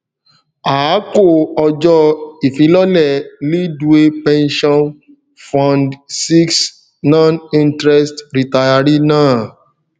a kò ọjọ ifilọlẹ leadway pensure fund vi noninterest retiree náà